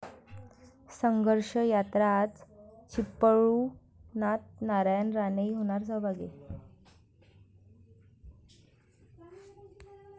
संघर्ष यात्रा आज चिपळुणात, नारायण राणेही होणार सहभागी!